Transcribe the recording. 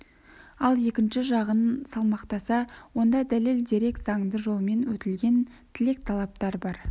ал екінші жағын салмақтаса онда дәлел дерек заңды жолмен өтілген тілек-талаптар бар